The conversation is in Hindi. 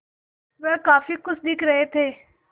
वह काफ़ी खुश दिख रहे थे